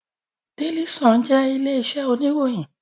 Daily Sun jẹ orúkọ ilé iṣẹ oníròyìn.